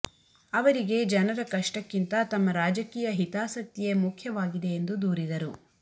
ಅವರಿಗೆ ಜನರ ಕಷ್ಟಕ್ಕಿಂತ ತಮ್ಮ ರಾಜಕೀಯ ಹಿತಾಸಕ್ತಿಯೇ ಮುಖ್ಯವಾಗಿದೆ ಎಂದು ದೂರಿದರು